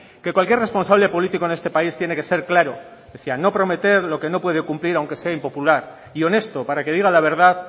que cualquier responsable político en este país tiene que ser claro decía no prometer lo que no puede cumplir aunque sea impopular y honesto para que diga la verdad